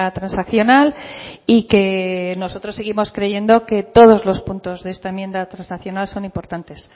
transaccional y que nosotros seguimos creyendo que todos los puntos de esta enmienda transaccional son importantes